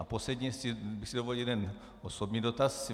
A posledně bych si dovolil jeden osobní dotaz.